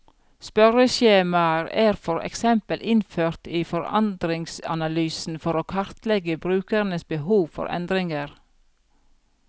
Spørreskjemaer er for eksempel innført i forandringsanalysen for å kartlegge brukernes behov for endringer.